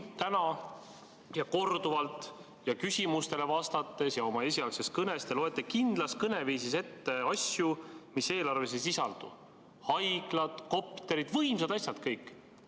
Täna korduvalt küsimustele vastates ning oma esialgses kõnes te loete kindlas kõneviisis ette asju, mida eelarves ei sisaldu: haiglad, kopterid – võimsad asjad kõik!